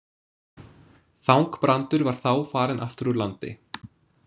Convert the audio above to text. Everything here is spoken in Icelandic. Þangbrandur var þá farinn aftur úr landi.